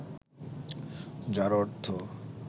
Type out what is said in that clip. যার অর্থ